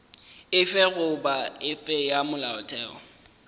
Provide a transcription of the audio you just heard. efe goba efe ya molaotheo